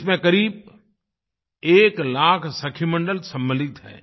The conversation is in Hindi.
इसमें करीब 1 लाख सखी मंडल सम्मिलित हैं